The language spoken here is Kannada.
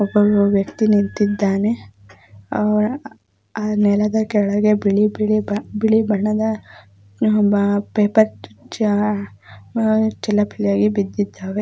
ಒಬ್ಬ ವ್ಯಕ್ತಿ ನಿಂತಿದ್ದಾನೆ ಅವನ ನೆಲದ ಕೆಳಗಡೆ ಬಿಳಿ ಬಣ್ಣದ .